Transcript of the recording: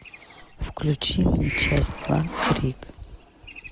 включи мне часть два крик